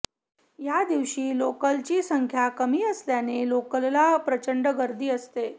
या दिवशी लोकलची संख्या कमी असल्याने लोकलला प्रचंड गर्दी असते